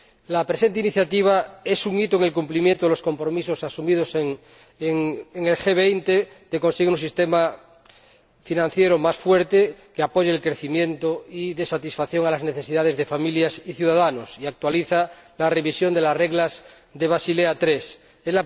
La presente iniciativa es un hito en el cumplimiento de los compromisos asumidos en el G20 de conseguir un sistema financiero más fuerte que apoye el crecimiento y dé satisfacción a las necesidades de familias y ciudadanos, y actualiza la revisión de las reglas de Basilea III.